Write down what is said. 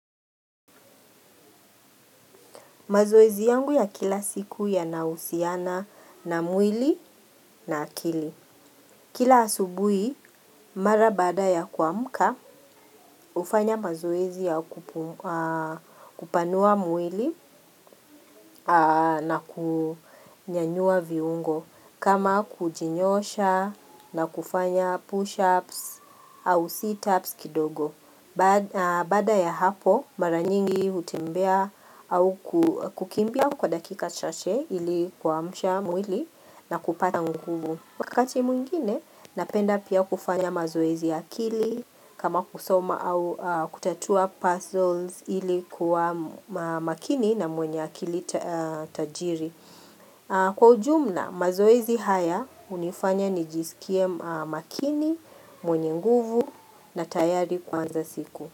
Mazoezi yangu ya kila siku yanahusiana na mwili na akili. Kila asubuhi, mara baada ya kuamka, hufanya mazoezi ya kupanua mwili na kunyanyua viungo. Kama kujinyosha na kufanya push-ups au seatups kidogo. Baada ya hapo mara nyingi hutembea au kukimbia kwa dakika chache ili kuamsha mwili na kupata nguvu Wakati mwingine napenda pia kufanya mazoezi ya akili kama kusoma au kutatua puzzles ili kuwa makini na mwenye akili tajiri Kwa ujumla mazoezi haya hunifanya nijisikie makini, mwenye nguvu na tayari kuanza siku.